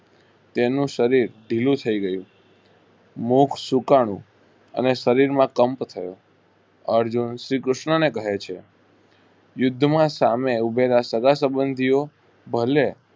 તેનું શરીર ઢીલું થઇ ગયું મોક્ક્ષ સુકાણું અને શરીર માં કંપ થયો અર્જુન શ્રી કૃષ્ણને કહે છે યુદ્ધ માં સામે ઉભેલા સાગા સબન્ધીઓ ભલે